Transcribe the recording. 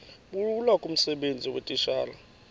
bulula kumsebenzi weetitshala